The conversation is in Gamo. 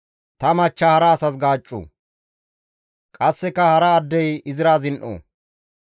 ta machcha hara asas gaaccu; qasseka hara addey izira zin7o.